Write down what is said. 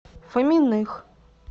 фоминых